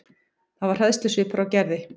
Það var hræðslusvipur á Gerði.